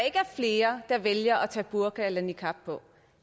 flere der vælger at tage burka eller niqab på